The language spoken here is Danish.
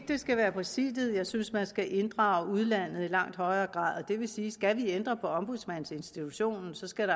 det skal være præsidiet jeg synes man skal inddrage udlandet i langt højere grad det vil sige at skal vi ændre på ombudsmandsinstitutionen skal